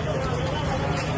Qardaş, Salamatçı.